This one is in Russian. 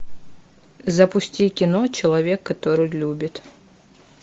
запусти кино человек который любит